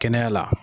Kɛnɛya la